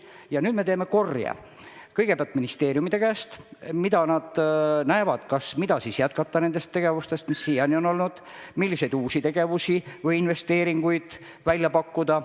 Ja nüüd me teeme korje, et kuulda kõigepealt ministeeriumide käest, mida on vaja jätkata nendest tegevustest, mis siiani on olnud, ja milliseid uusi tegevusi või investeeringuid nad välja pakuvad.